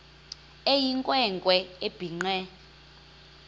eyinkwe nkwe ebhinqe